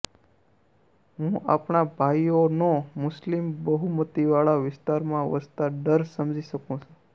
હું આપણા ભાઈઓનો મુસ્લિમ બહુમતીવાળા વિસ્તારમાં વસતા ડર સમજી શકું છું